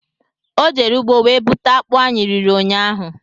Ọ jere ugbo wee buta akpụ anyị riri ụnyaahụ